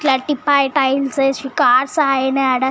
clerk పై tiles వేసి car అగినై అడ